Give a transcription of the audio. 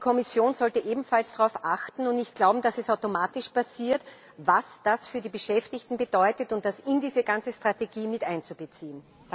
Und die Kommission sollte ebenfalls darauf achten und nicht glauben, dass es automatisch passiert was das für die Beschäftigten bedeutet, und das in diese ganze Strategie mit einbeziehen.